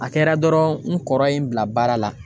A kɛra dɔrɔn n kɔrɔ ye n bila baara la.